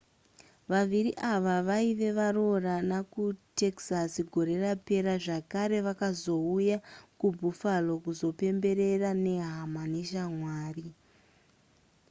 vaviri ava vaiva varoorana kutexas gore rapera zvakare vakazouya kubuffalo kuzopembera nehama neshamwari